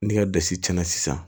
Ni ka dasi cɛnna sisan